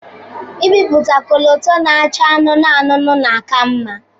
Ibiputa kọlọtọ na-acha anụnụ anụnụ na aka mma.